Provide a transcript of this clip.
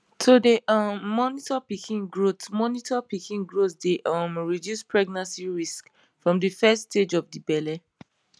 to dey um monitor pikin growth monitor pikin growth dey um reduce pregnancy risks from de first stage of de belle